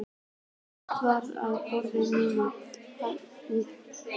Upptökutæki var á borðinu og brún pappaaskja merkt